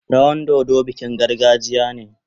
Rawan dodo bikin gargajiya.